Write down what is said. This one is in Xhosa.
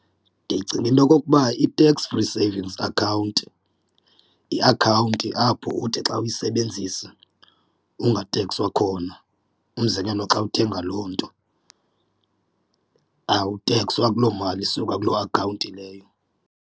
Ndicinga into okokuba i-tax free savings account iakhawunti apho uthi xa uyisebenzisa ungatekswa khona, umzekelo xa uthenga loo nto awutekswa kuloo mali isuka kuloo akhawunti leyo.